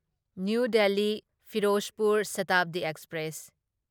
new Delhi Ferozepur Shatabdi express